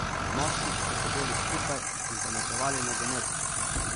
Moški so sedeli skupaj in pametovali o nogometu.